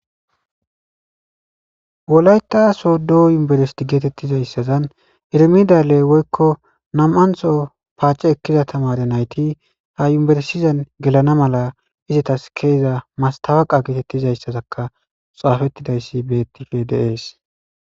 wolayta sodo yunberesti geetettizayssazan irimidalle woykko nam7antho paace ekkiza tamare nayti ha imberesizan gelana mala izatas keeza mastawaqa geetettizayssazakka xaafettidayssi bettife deees